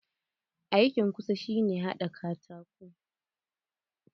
Aikin ƙusa shi ne haɗa katako.